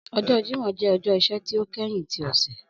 Ọjọ Jimọ jẹ ọjọ iṣẹ ti o kẹhin ti ọsẹ.